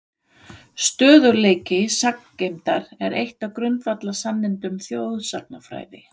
Stöðugleiki sagngeymdar er eitt af grundvallarsannindum þjóðsagnafræði.